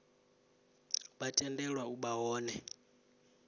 vha tendelwa u vha hone